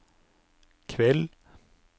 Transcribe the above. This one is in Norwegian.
kveld